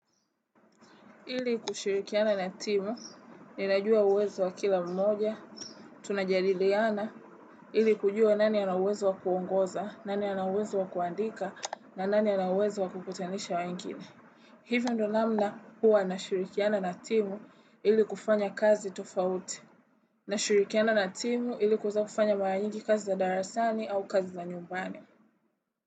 Ili kushirikiana na timu, ninajua uwezo wa kila mmoja, tunajadiliana, ili kujua nani ana uwezo wa kuongoza, nani ana uwezo wa kuandika, na nani ana uwezo wa kukutanisha wengine Hivyo ndo namna huwa na shirikiana na timu ili kufanya kazi tofauti. Na shirikiana na timu ili kwaza kufanya mara nyingi kazi za darasani au kazi za nyumbani.